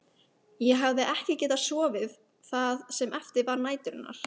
Ég hafði ekki getað sofið það sem eftir var næturinnar.